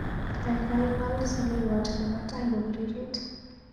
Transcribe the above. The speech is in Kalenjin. Kaikai wal saleiwot nebo tait kopiririt.